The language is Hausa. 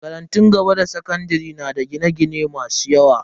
Makarantun gaba da sakandare na da gine-gine masu yawa.